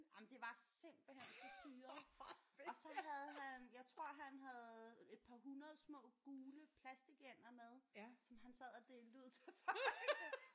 Jamen det var simpelthen så syret og så havde han jeg tror han havde et par 100 små gule plastikænder med som han sad og delte ud til folk